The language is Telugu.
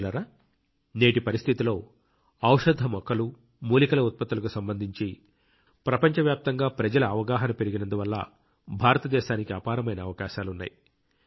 మిత్రులారా నేటి పరిస్థితిలో ఔషధ మొక్కలు మూలికల ఉత్పత్తులకు సంబంధించి ప్రపంచవ్యాప్తంగా ప్రజల అవగాహన పెరిగినందువల్ల భారతదేశానికి అపారమైన అవకాశాలున్నాయి